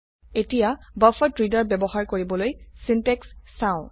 এতিয়া buffered reader implement কৰিবলৈ syntax চাও